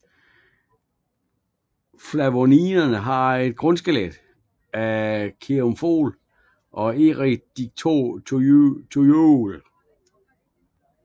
Flavonoiderne har et grundskelet af kaempferol og eriodictyol